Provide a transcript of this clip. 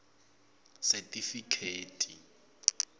setifikheti